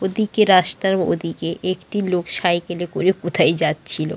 ওদিকে রাস্তার ওদিকে একটি লোক সাইকেল -এ করে কোথায় যাচ্ছিলো।